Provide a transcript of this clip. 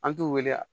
An t'u wele a